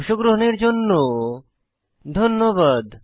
অংশগ্রহনের জন্য ধন্যবাদ